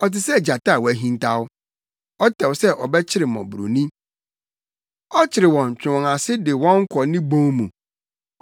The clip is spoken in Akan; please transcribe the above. Ɔte sɛ gyata a wahintaw; ɔtɛw sɛ ɔbɛkyere mmɔborɔni; ɔkyere wɔn twe wɔn ase de wɔn kɔ ne bon mu.